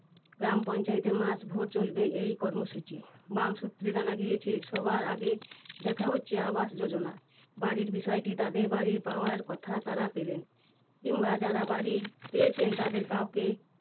গ্রামপঞ্চায়েতে মাস ভোর চলবে এই কর্মসূচি। বাম সূত্রে জানা গিয়েছে, সবার আগে দেখা হচ্ছে আবাস যোজনা। বাড়ির বিষয়টি তাদের বাড়ি পাওয়ার কথা তারা পেলেন না কিংবা যারা বাড়ি পেয়েছেন তাদের কাউকেই